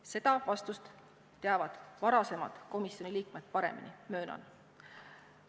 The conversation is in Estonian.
Seda vastust teavad varasemad komisjoni liikmed paremini, möönan.